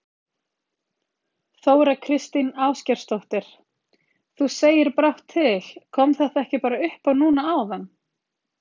Þóra Kristín Ásgeirsdóttir: Þú segir brátt til, kom þetta ekki bara upp á núna áðan?